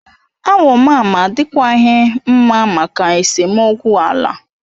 Awo mama adikwaghị mma maka esemokwu ala.